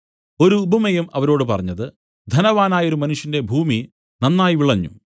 ഒരുപമയും അവരോട് പറഞ്ഞത് ധനവാനായൊരു മനുഷ്യന്റെ ഭൂമി നന്നായി വിളഞ്ഞു